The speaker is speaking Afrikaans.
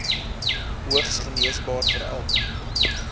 hoogs geneesbaar veral